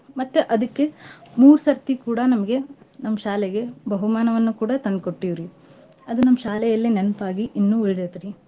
ಮತ್ತ್ ಅದಕ್ಕೆ ಮೂರ್ಸರ್ತಿ ಕೂಡಾ ನಮ್ಗೆ ನಮ್ ಶಾಲೆಗೆ ಬಹುಮಾನವನ್ನ ಕೂಡಾ ತಂದ್ಕೊಟ್ಟಿವ್ರಿ ಅದ ನಮ್ ಶಾಲೆಯಲ್ಲಿ ನೆನ್ಪಾಗಿ ಇನ್ನೂ ಉಳ್ದೈತ್ರಿ.